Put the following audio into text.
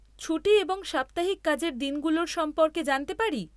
ছুটি এবং সাপ্তাহিক কাজের দিনগুলোর সম্পর্কে জানতে পারি?